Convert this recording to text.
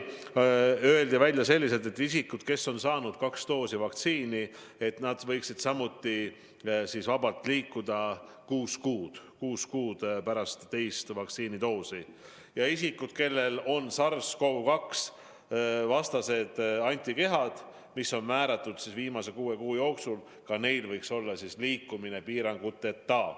Seejärel öeldi välja see, et isikud, kes on saanud kaks doosi vaktsiini, võiksid samuti vabalt liikuda kuus kuud pärast teise vaktsiinidoosi saamist ja et isikute puhul, kelle veres on SARS-Cov-2-vastased antikehad, mis on määratud viimase kuue kuu jooksul, võiks samuti olla liikumine piiranguteta.